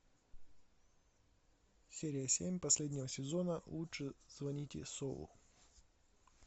серия семь последнего сезона лучше звоните солу